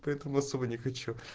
поэтому особо не хочу